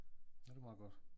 Ja det meget godt